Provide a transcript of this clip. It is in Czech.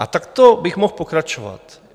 A takto bych mohl pokračovat.